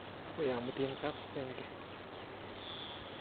Akoi amutin kap senge.